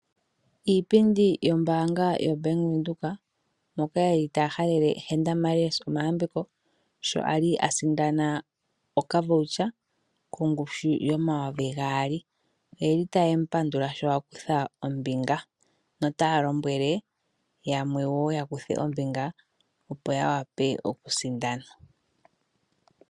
Iipindi yombaanga yaBank Windhoek mbyoka yeli taya halele Henda Marais omayambeko , sho asindana okVoucher kongushu yoN$2000. Oyeli taye mu pandula sho akutha ombinga notaya lombwele yamwe yakuthe ombinga opo yawape yasindane.